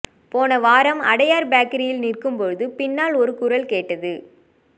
போன வாரம் அடையார் பேக்கரியில் நிற்கும்போது பின்னால் ஒரு குரல் கேட்டது